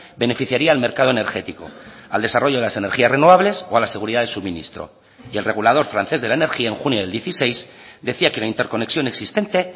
beneficiaría al mercado energético al desarrollo de las energías renovables o a la seguridad de suministro y el regulador francés de la energía en junio del dieciséis decía que la interconexión existente